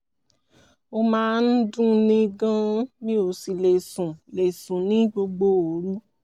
ó máa ń dunni gan-an mi ò sì lè sùn lè sùn ní gbogbo òru